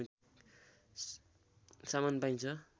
सामान पाइन्छ